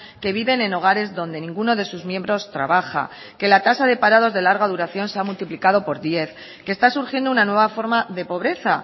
que viven en hogares donde ninguno de sus miembros trabaja que la tasa de parados de larga duración se ha multiplicado por diez que está surgiendo una nueva forma de pobreza